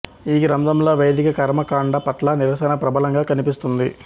ఈ గ్రంథంలో వైదిక కర్మకాండ పట్ల నిరశన ప్రబలంగా కనిపిస్తుంది